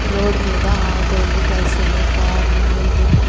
Road మీద ఆటోలు బస్సులు కార్లు వెళ్తున్నాయి.